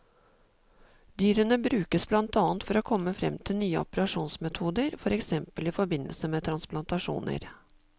Dyrene brukes i blant annet for å komme frem til nye operasjonsmetoder, for eksempel i forbindelse med transplantasjoner.